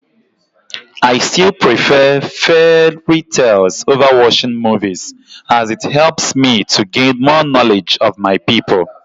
I still prefer fairy tales over watching movies, as it helps me to gain more knowledge of my people.